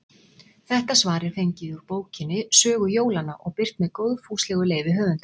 Þetta svar er fengið úr bókinni Sögu jólanna og birt með góðfúslegu leyfi höfundar.